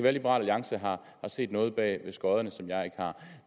at liberal alliance har set noget bag skodderne som jeg ikke har